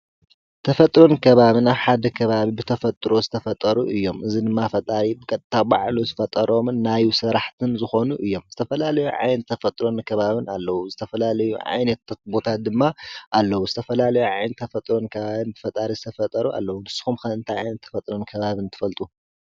ተፈጥርን ከባብና ሓደ ከባቢ ብተፈጥሮ ዝተፈጠሩ እዮ። እዝ ንማ ፈጣሪ ብቐታ ባዕሉ ዝፈጠሮምን ናይ ሠራሕትን ዝኾኑ እዮም። ዝተፈላለዩ ዓይን ተፈጥሮን ከባብን ኣለዉ ዝተፈላለዩ ዓይነት ተትቦታት ድማ ኣለዉ ዝተፈላለዮ ዓይን ተ ፈጥሮን ከባብን ብፈጣሪ ዝተፈጠሩ ኣለዉ ንስኹም ክንንቲ ኣኤንተፈጥሮን ከባብን ትፈልጡ።